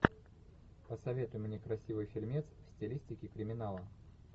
посоветуй мне красивый фильмец в стилистике криминала